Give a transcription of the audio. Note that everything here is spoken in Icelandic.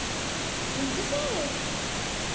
Ingi Sig.